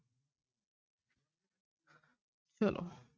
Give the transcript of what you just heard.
ਚਲੋ।